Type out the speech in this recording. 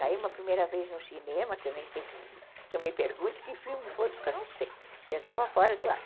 Saímos a primeira vez no cinema, que eu nem sei, não me pergunte que filme foi, porque eu não sei, porque eu estava fora do ar.